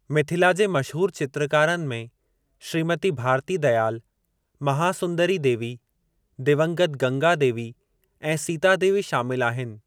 मिथिला जे मशहूर चित्रकारनि में श्रीमती भारती दयाल, महासुंदरी देवी, दिवंगत गंगा देवी ऐं सीता देवी शामिल आहिनि।